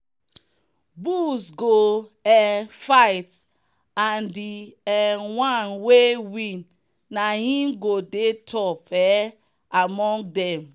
bulls go um fight and the um one wey win na him go dey top um among them.